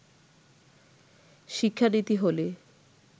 শিক্ষানীতি হলে